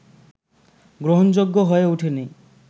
গ্রহণযোগ্য হয়ে ওঠেনি